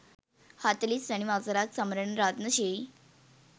හතළිස් වැනි වසරත් සමරන රත්න ශ්‍රී